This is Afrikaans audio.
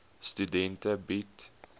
studente bied